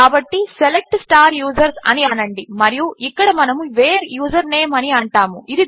కాబట్టి select users అని అనండి మరియు ఇక్కడ మనము వేర్ యూజర్నేమ్ అని అంటాము